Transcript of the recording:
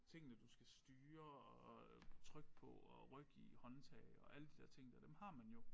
Tingene du skal styre og trykke på og rykke i håndtag og alle de der ting der dem har man jo